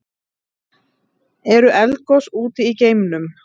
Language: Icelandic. Eru eldgos úti í geimnum?